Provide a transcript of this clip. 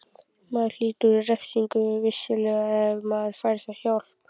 Maður hlýtur refsingu, vissulega, en maður fær hjálp.